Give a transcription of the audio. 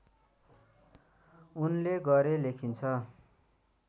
उनले गरे लेखिन्छ